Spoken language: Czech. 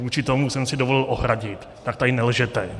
Vůči tomu jsem si dovolil ohradit, tak tady nelžete.